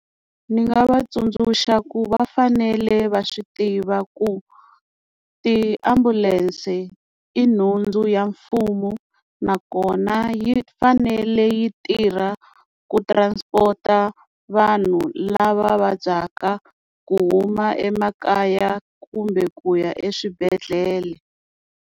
Ni nga va tsundzuxa ku va fanele va swi tiva ku tiambulense i nhundzu ya mfumo nakona yi fanele yi tirha ku transport vanhu lava vabyaka ku huma emakaya kumbe ku ya eswibedhlele.